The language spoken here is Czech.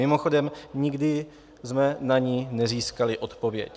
Mimochodem, nikdy jsme na ni nezískali odpověď.